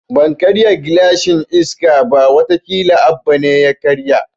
Ban karya gilashin Iska ba, wata kila Abba ne ya karya